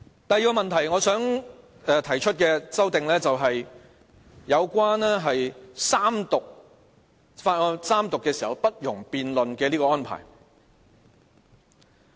第二個問題，我想談談有關法案三讀時不容辯論的安排而提出的修訂。